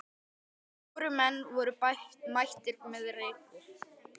Fjórir menn voru mættir með rekur.